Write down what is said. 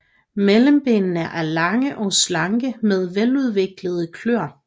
Mellembenene er lange og slanke med veludviklede kløer